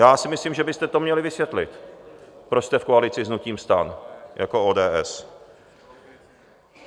Já si myslím, že byste to měli vysvětlit, proč jste v koalici s hnutím STAN jako ODS.